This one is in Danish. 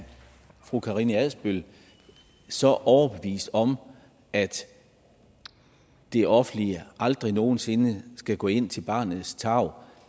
fru karina adsbøl så overbevist om at det offentlige aldrig nogen sinde skal gå ind til barnets tarv